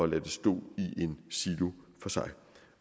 lade det stå i en silo for sig